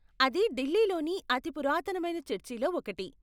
అది ఢిల్లీలోని అతి పురాతనమైన చర్చిలో ఒకటి.